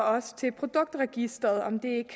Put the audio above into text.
også til produktregistret og om det